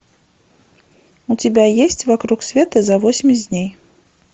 у тебя есть вокруг света за восемьдесят дней